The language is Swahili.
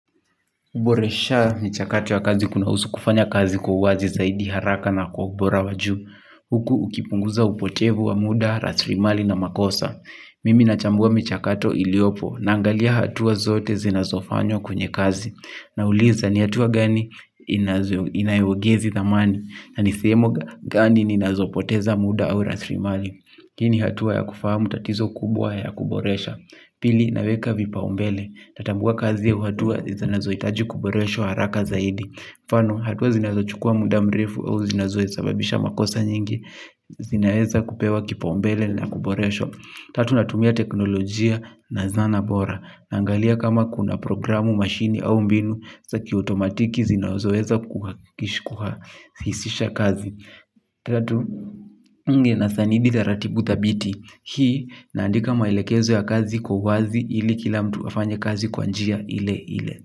Uboresha mchakatu wa kazi kunahusu kufanya kazi kwa uwazi zaidi haraka na kwa ubora wa juu. Huku ukipunguza upotevu wa muda, raslimali na makosa. Mimi nachambua michakato iliopo naangalia hatua zote zinazofanywa kwenye kazi. Nauliza ni hatua gani inaiyogizi thamani na ni sehemu gani ninazopoteza muda au raslimali. Hii ni hatua ya kufahamu tatizo kubwa ya kuboresha. Pili naweka vipaumbele, natambua kazi au hatua zinazohitaji kuboreshwa haraka zaidi kwa mfano, hatua zinazochukua muda mrefu au zinazoe sababisha makosa nyingi. Zinaweza kupewa kipaumbele na kuboresho. Tatu natumia teknolojia na zana bora. Naangalia kama kuna programu, mashini au mbinu za kiutomatiki zinazoweza kuhakishi hisisha kazi. Tatu, nge na sanidi za ratibu thabiti. Hii naandika maelekezo ya kazi kwa wazi ili kila mtu afanye kazi kwa njia ile ile.